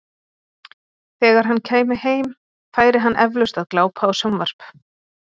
Þegar hann kæmi heim, færi hann eflaust að glápa á sjónvarp.